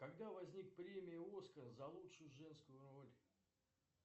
когда возник премия оскар за лучшую женскую роль